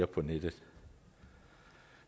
på nettet